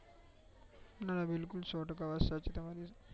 ના બિલકુલ સો ટકા વાત સાચી તમારી